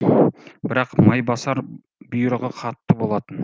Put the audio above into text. бірақ майбасар бұйрығы қатты болатын